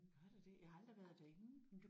Gør der det jeg har aldrig været derinde